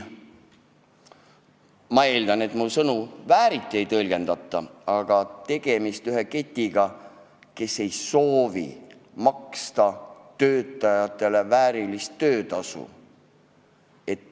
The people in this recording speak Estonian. Ma eeldan, et mu sõnu vääriti ei tõlgendata, aga tegemist on ketiga, kes ei soovi maksta töötajatele väärilist töötasu.